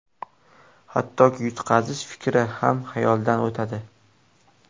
Hattoki, yutqazish fikri ham xayoldan o‘tadi.